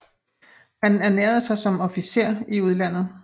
Han ernærede sig som officer i udlandet